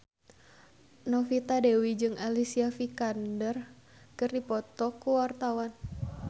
Novita Dewi jeung Alicia Vikander keur dipoto ku wartawan